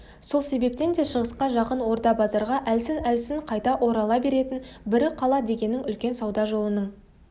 сол себептен де шығысқа жақын орда-базарға әлсін-әлсін қайта орала беретін бірі қала дегенің үлкен сауда жолының